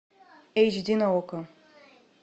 эйч ди на окко